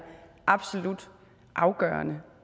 absolut afgørende